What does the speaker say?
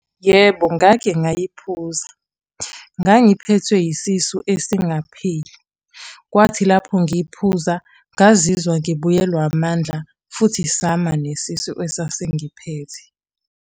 Yebo ngake ngayiphuza. Ngangiphethwe yisisu esingapheli. Kwathi lapho ngiy'phuza, ngazizwa ngibuyelwa amandla, futhi sama nesisu esasingiphethe.